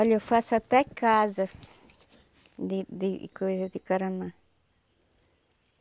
Olha, eu faço até casa de de coisa de caramã.